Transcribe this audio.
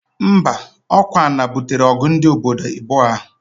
Mba, okwa ana butere ogu ndi obodo ibuo ahu.